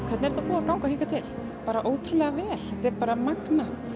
þetta búið að ganga hingað til bara ótrúlega vel þetta er bara magnað